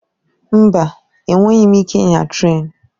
Mba! Enweghị m ike ịnya trén.